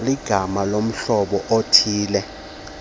ligama lohlobo oluthille